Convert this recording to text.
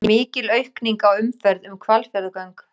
Mikil aukning á umferð um Hvalfjarðargöng